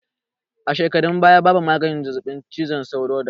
A shekarun baya babu maganin zazzaɓin cizon sauro dayawa